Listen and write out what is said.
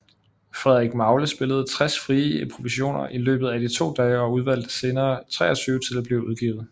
Frederik Magle spillede 60 frie improvisationer i løbet af de to dage og udvalgte senere 23 til at blive udgivet